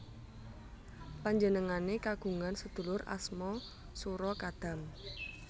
Panjenengane kagungan sedulur asma Sura Kadam